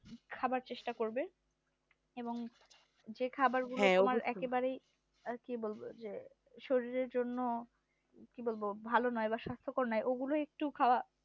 খাবার চেষ্টা করবে এবং যে খাবার গলা একেবারে ই শরীরের জন্য ভালো নয় এবং নয় ওগুলো একটু বা